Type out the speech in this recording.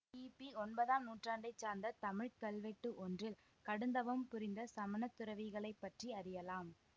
கிபி ஒன்பதாம் நூற்றாண்டை சார்ந்த தமிழ்க்கல்வெட்டு ஒன்றில் கடுந்தவம் புரிந்த சமணத்துறவிகளைப்பற்றி அறியலாம்